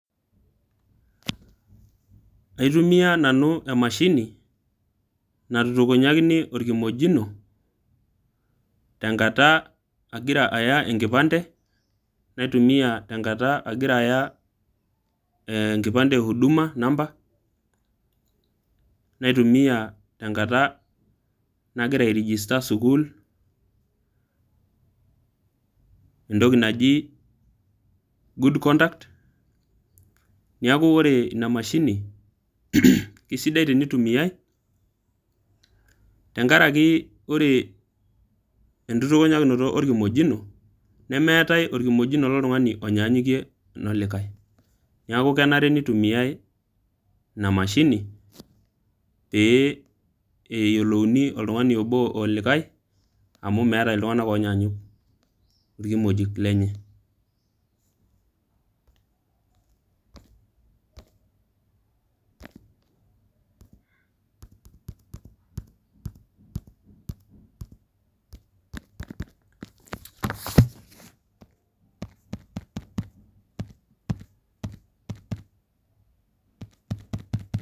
Aitumiya nanu emashini natukunyakini olkimojino, tenkata agira aya enkipande, naitumiya tenkata agira aya enkipande e Huduma namba, naitumiya tenkata agira airegista sukuul, entoki naji good conduct. Neaku ore ina mashini, keisidai teneitumiyai, tenkaraki oree nkitutunyakino olkimojino, nemeati olkimojino le likai tung'ani oinyanyukie ololikai. Neaku enare neitumiyai ina mashini, pee eyiolouni oltung'ani obo olikai, amu meatai iltung'ank oinyaanyuk ilkimojik lenye.